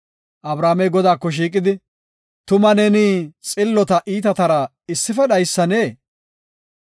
Abrahaamey Godaako shiiqidi, “Tuma neeni xillota iitatara issife dhaysannee?